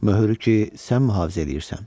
Möhürü ki, sən mühafizə eləyirsən.